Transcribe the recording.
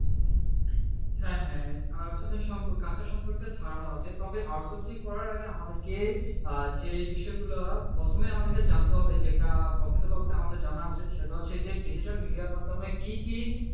হ্যাঁ হ্যাঁ out sourcing কাজ টা সম্পর্কে ধারণা আছে তবে out sourcing করার আগে আমাদেরকে যে বিষয়গুলা প্রথমে আমারে জানতে হবে যেটা সেটা হচ্ছে যে digital media মাধ্যমে কি কি,